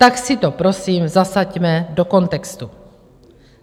Tak si to prosím zasaďme do kontextu.